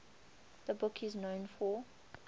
the book is known for